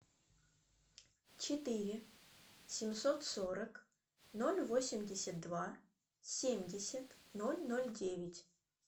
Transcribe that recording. четыре семьсот сорок ноль восемьдесят два семьдесят ноль ноль девять